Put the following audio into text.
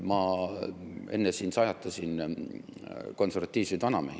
Ma enne siin sajatasin konservatiivseid vanamehi.